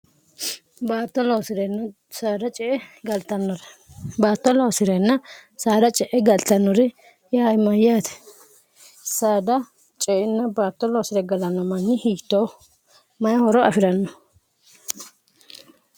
cbaatto loosi'reenna saara ce e galtannori ya imayyaati saada ceinna baatto loosire galanno manyi hitoo mayi horo afi'ranno